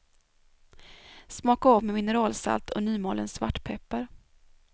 Smaka av med mineralsalt och nymalen svartpeppar.